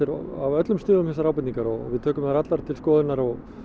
af öllum stigum þessar ábendingar við tökum þær allar til skoðunar og